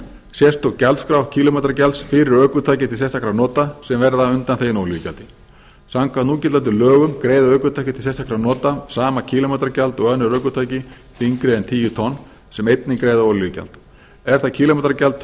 sérstök gjaldskrá kílómetragjalds fyrir ökutæki til sérstakra nota sem verða undanþegin olíugjald samkvæmt núgildandi lögum greiða ökutæki til sérstakra nota sama kílómetragjald og önnur ökutæki þyngri en tíu tonn sem einnig greiða olíugjald er það kílómetragjald